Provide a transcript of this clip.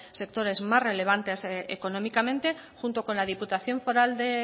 sectores más relevantes económicamente junto con la diputación foral de